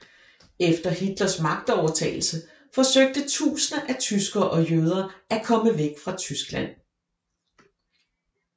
Efter Hitlers magtovertagelse forsøgte tusinder af tyskere og jøder at komme væk fra Tyskland